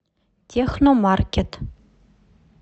техномаркет